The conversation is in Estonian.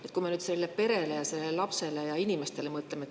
Mõtleme nüüd sellele perele, sellele lapsele ja inimestele.